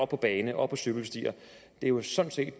på bane og på cykelstier det er jo sådan set